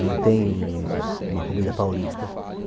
Não tem uma comida paulista.